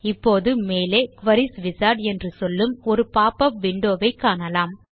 இப்போது மேலே queries wizard என்று சொல்லும் ஒரு பாப் உப் விண்டோ வை காணலாம்